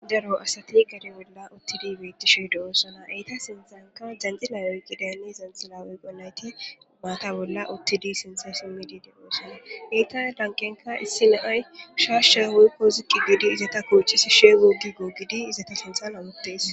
Daro asati gade bolla uttidi betishe de'osona etta sinthanka jandhila oykidaytine oykontayti mata bolla uttidi de'osona etta lanqenka issi na'ay shasha woykonn ziqi gidi izeta sinthan hamutes